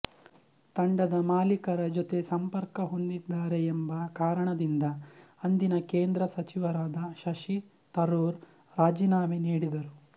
ತಂಡದ ಮಾಲೀಕರ ಜೊತೆ ಸಂಪರ್ಕ ಹೊಂದಿದ್ದಾರೆ ಎಂಬ ಕಾರಣದಿಂದ ಅಂದಿನ ಕೇಂದ್ರ ಸಚಿವರಾದ ಶಶಿ ತರೂರ್ ರಾಜೀನಾಮೆ ನೀಡಿದರು